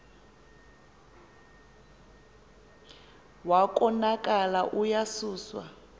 wa konakala uyasuswa